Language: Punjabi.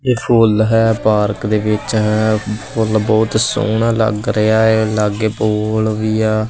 ਇਹ ਫੁੱਲ ਹੈ ਪਾਰਕ ਦੇ ਵਿੱਚ ਹੈ ਫੁੱਲ ਬਹੁਤ ਸੋਹਣਾ ਲੱਗ ਰਿਹਾ ਹੈ ਲਾਗੇ ਪੋਲ ਵੀ ਆ।